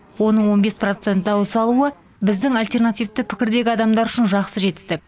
оның он бес процент дауыс алуы біздің альтернативті пікірдегі адамдар үшін жақсы жетістік